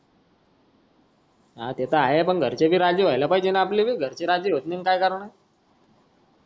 हा ते तर आहे पण घरचे राजी व्हायला पाहिजे न आपले घरचे राजी होत नाही काय करन